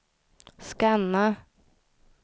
scanna